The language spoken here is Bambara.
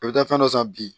A bɛ taa fɛn dɔ san bi